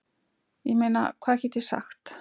Ég meina hvað get ég sagt?